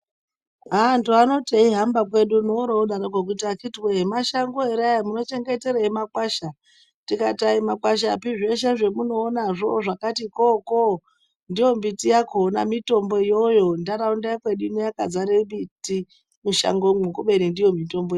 Antu anoti eihamba wedu uno oro ooti akhiti woye mashango ere aya munochengeteri makwasha. Tikati ayi makwashapi zveshe zvamunoona zvakati khoo khoo ndiyo mbiti yakhona, mitombo iyoyo. Nharaunda yekwedu ino yakazara miti mushangomwo kubeni ndiyo mitombo.